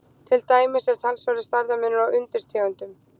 Til dæmis er talsverður stærðarmunur á undirtegundunum.